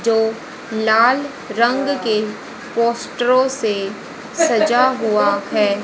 जो लाल रंग के पोस्टर से सजा हुआ है।